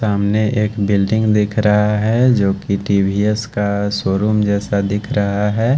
सामने एक बिल्डिंग दिख रहा है जोकि टी_वी_एस का शोरूम जैसा दिख रहा है।